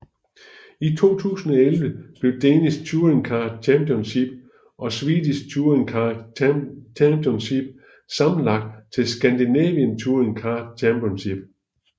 I 2011 blev Danish Touringcar Championship og Swedish Touring Car Championship sammenlagt til Scandinavian Touring Car Championship